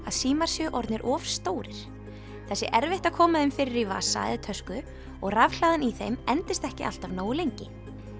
að símar séu orðnir of stórir það sé erfitt að koma þeim fyrir í vasa eða tösku og rafhlaðan í þeim endist ekki alltaf nógu lengi